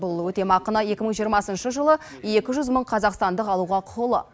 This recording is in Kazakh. бұл өтемақыны екі мың жиырмасыншы жылы екі жүз мың қазақстандық алуға құқылы